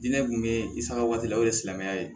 Diinɛ kun be i sagaw la o ye silamɛya ye